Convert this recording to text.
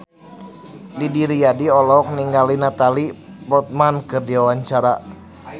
Didi Riyadi olohok ningali Natalie Portman keur diwawancara